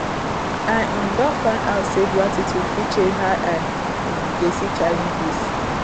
I um don find out say gratitude fit change how I um dey see challenges.